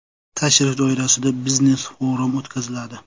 Tashrif doirasida biznes-forum o‘tkaziladi.